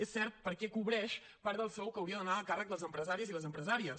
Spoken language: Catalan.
és cert perquè cobreix part del sou que hauria d’anar a càrrec dels empresaris i les empresàries